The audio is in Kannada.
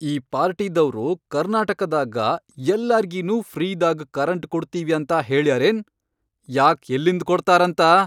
ಈ ಪಾರ್ಟಿದವ್ರು ಕರ್ನಾಟಕದಾಗ ಯಲ್ಲಾರ್ಗಿನೂ ಫ್ರೀದಾಗ್ ಕರೆಂಟ್ ಕೊಡ್ತೀವಿ ಅಂತ ಹೇಳ್ಯಾರ್ ಏನ್ ಯಾಕ್ ಯಲ್ಲಿಂದ್ ಕೊಡ್ತಾರಂತ.